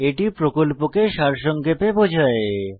এটি প্রকল্পকে সারসংক্ষেপে বোঝায়